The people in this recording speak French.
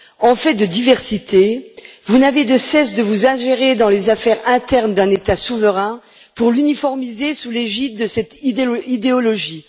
En fait de diversité, vous n'avez de cesse de vous ingérer dans les affaires internes d'un État souverain, pour l'uniformiser sous l'égide de cette idéologie.